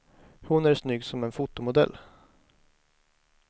Hon är snygg som en fotomodell.